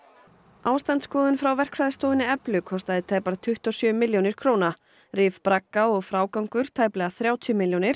ástandsskoðun frá verkfræðistofunni kostaði tæpar tuttugu og sjö milljónir króna rif bragga og frágangur tæplega þrjátíu milljónir